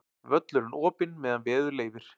Völlurinn opinn meðan veður leyfir